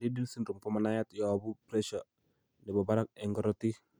Liddle syndrome komanaiyat yoobu pressure nebo barak eng korotik